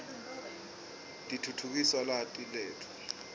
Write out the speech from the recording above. titfutfukisa lwati letfu